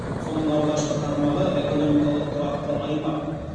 соның алғашқы тармағы экономикалық тұрақты аймақ